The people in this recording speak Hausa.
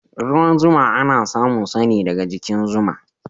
Ruwan zuma ana samun sa ne daga jikin zuwa.